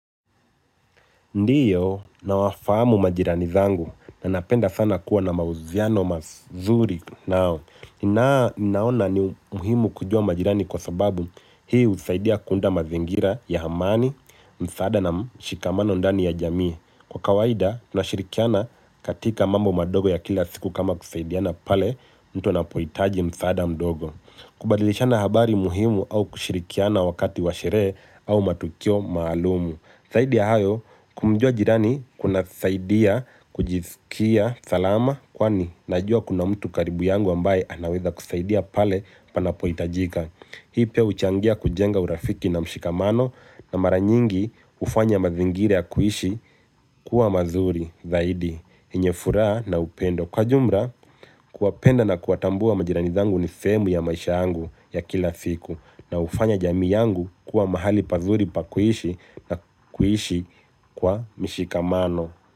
Ndiyo nawafahamu majirani zangu na napenda kuwa na mahusiano mazuri nao na ninaona ni muhimu kujua majirani kwa sababu hii husaidia kuunda mazingira ya amani, msaada na mshikamano ndani ya jamii. Kwa kawaida tunashirikiana katika mambo madogo ya kila siku kama kusaidiana pale mtu anapohitaji msaada mdogo. Kubadilishana habari muhimu au kushirikiana wakati wa sherehe au matukio maalumu. Zaidi ya hayo, kumjua jirani kuna saidia kujisikia salama kwani najua kuna mtu karibu yangu ambaye anaweza kusaidia pale panapo hitajika. Mimi pia huchangia kujenga urafiki na mshikamano na mara nyingi kufanya mazingira ya kuishi kuwa mazuri zaidi yenye furaha naupendo kwa ujumla kuwapenda na kuwatambua majirani zangu ni sehemu ya maisha yangu ya kila siku na hufanya jamii yangu kuwa mahali pazuri pa kuishi na kuishi kwa mshikamano.